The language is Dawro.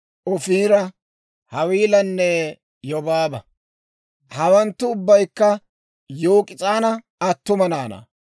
Ofiira, Hawiilanne Yobaaba. Hawanttu ubbaykka Yok'is'aana attuma naanaa.